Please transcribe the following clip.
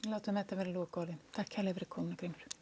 látum þetta vera lokaorðin takk kærlega fyrir komuna Grímur